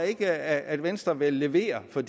ikke at venstre vil levere for